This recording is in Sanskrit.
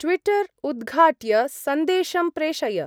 ट्विटर् उद्घाट्य संदेशं प्रेषय।